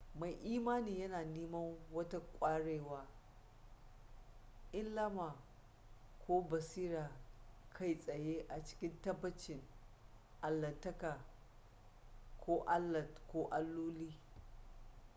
mai imani yana neman wata ƙwarewa ilhama ko basira kai tsaye a cikin tabbacin allahntaka/allah ko alloli